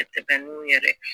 A tɛ n'u yɛrɛ